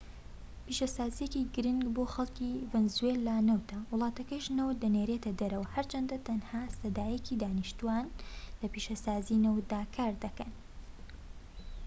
پیشەسازیەکی گرنگ بۆ خەلکی ڤەنزوێلا نەوتە وڵاتەکەش نەوت دەنێرێتە دەر هەرچەندە تەنها سەدا یەکی دانیشتوان لە پیشەسازیی نەوتدا کار دەکەن